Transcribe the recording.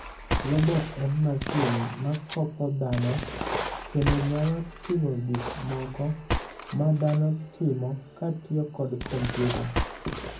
Robot en masin makopo dhano kendo nyalo timo gik moko madhano timokotiyo kod kompiuta.